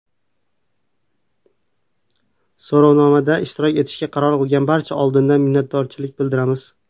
So‘rovnomada ishtirok etishga qaror qilgan barchaga oldindan minnatdorchilik bildiramiz.